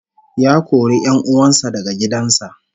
Ya kori 'yan uwan sa daga gidan sa